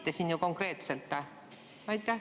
Te ju konkreetselt vassite.